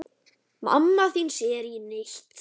Mamma þín sér þig ekki neitt.